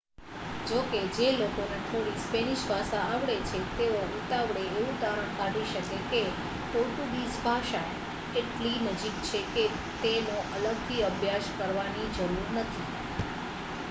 જોકે જે લોકોને થોડી સ્પેનિશ ભાષા આવડે છે તેઓ ઉતાવળે એવું તારણ કાઢી શકે છે કે પોર્ટુગીઝ ભાષા એટલી નજીક છે કે તેનો અલગથી અભ્યાસ કરવાની જરૂર નથી